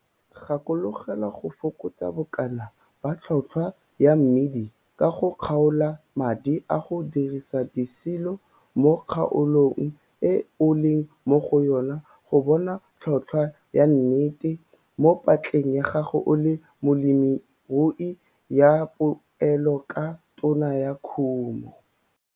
Gakologelwa go fokotsa bokana ba tlhotlhwa ya mmidi ka go kgaola madi a go dirisa disilo mo kgaolong e o leng mo go yona go bona tlhotlhwa ya 'nnete' mo patleng ya gago o le molemirui ya poelo ka tono ya kumo.